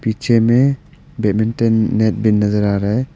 पीछे में badminton net भी नजर आ रहा है।